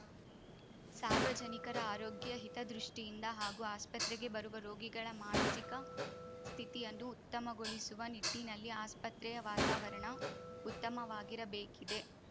ಸಾರ್ವಜನಿಕರ ಆರೋಗ್ಯ ಹಿತದೃಷ್ಟಿಯಿಂದ ಹಾಗೂ ಆಸ್ಪತ್ರೆಗೆ ಬರುವ ರೋಗಿಗಳ ಮಾನಸಿಕ ಸ್ಥಿತಿಯನ್ನು ಉತ್ತಮಗೊಳಿಸುವ ನಿಟ್ಟಿನಲ್ಲಿ ಆಸ್ಪತ್ರೆಯ ವಾತಾವರಣ ಉತ್ತಮವಾಗಿರಬೇಕಿದೆ